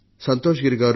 సంతోష్గిరి గారు